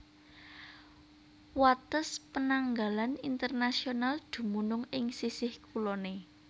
Wates penanggalan internasional dumunung ing sisih kuloné